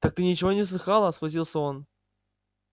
так ты ничего не слыхала схватился он